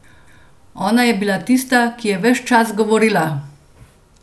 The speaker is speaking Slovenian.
Ona je bila tista, ki je ves čas govorila.